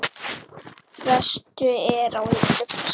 Frestur er á illu bestur!